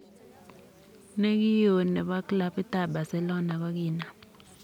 Ne ki o ne bo klabut ab Barcelona kokinam.